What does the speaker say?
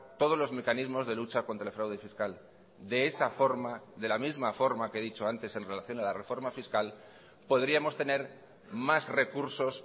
todos los mecanismos de lucha contra el fraude fiscal de esa forma de la misma forma que he dicho antes en relación a la reforma fiscal podríamos tener más recursos